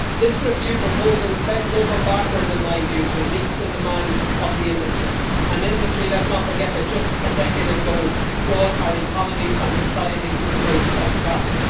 This review proposal bends over backwards in my view to meet the demands of the industry, an industry let's not forget that just a decade ago brought our economies and societies to the brink of collapse.